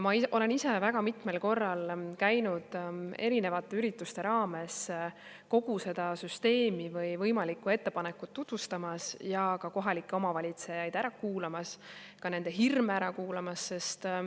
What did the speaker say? Ma olen ise väga mitmel korral käinud erinevate ürituste raames kogu seda süsteemi või võimalikku ettepanekut tutvustamas ja kohalikke ära kuulamas, ka nende hirme ära kuulamas.